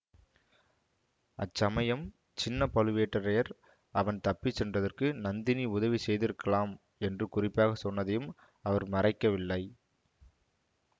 அச்சமயம் சின்ன பழுவேட்டரையர் அவன் தப்பி சென்றதற்கு நந்தினி உதவி செய்திருக்கலாம் என்று குறிப்பாக சொன்னதையும் அவர் மறைக்கவில்லை